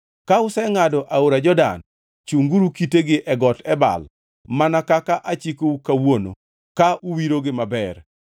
Ka usengʼado aora Jordan, chunguru kitegi e Got Ebal mana kaka achikou kawuono ka uwirogi maber.